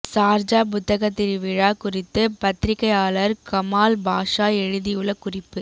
சார்ஜா புத்தகத்திருவிழா குறித்து பத்திரிக்கையாளர் கமால் பாஷா எழுதியுள்ள குறிப்பு